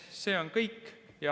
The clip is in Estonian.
See on kõik.